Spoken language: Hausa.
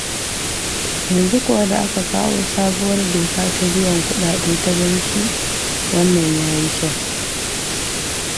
Yanzu kuwa da aka kawo sabuwar doka ta biyan kuɗaɗe ta banki, wannan ya yi kyau.